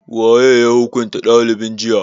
Waye ya hukunta dalibin jiya?